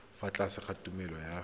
fa tlase ga tumalano ya